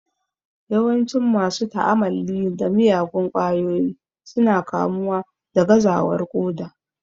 Yawancin masu ta'amalli da miyagun kwayoyi su na kamuwa da gazawar ƙoda